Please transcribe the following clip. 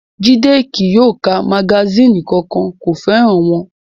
Jídé kí yóò ka magasínì kankan, kò fẹ́ràn wọn